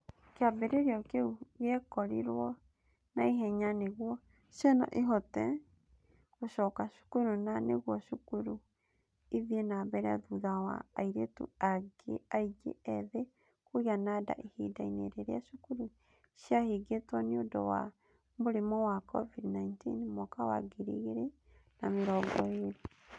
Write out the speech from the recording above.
Kĩambĩrĩrio kĩu gĩekĩrirũo na ihenya nĩguo ciana ihote gũcoka cukuru na nĩguo cukuru ithiĩ na mbere thutha wa airĩtu aingĩ ethĩ kũgĩa nda ihinda-inĩ rĩrĩa cukuru ciahingĩrĩtwo nĩ nĩ ũndũ wa mũrimũ wa COVID-19 mwaka wa ngiri igĩrĩ na mĩrongo ĩĩrĩ.